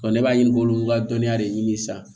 ne b'a ɲini k'olu ka dɔnniya de ɲini sisan